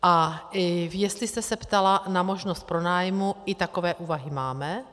A jestli jste se ptala na možnost pronájmu, i takové úvahy máme.